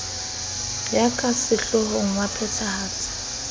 ya ka sehloohong wa phethahatso